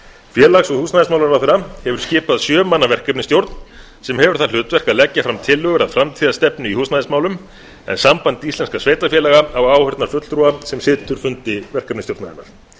félags og húsnæðismálaráðherra hefur skipað sjö manna verkefnisstjórn sem hefur það hlutverk að leggja fram tillögur að framtíðarstefnu í húsnæðismálum en samband íslenskra sveitarfélaga á áheyrnarfulltrúa sem situr fundi verkefnisstjórnarinnar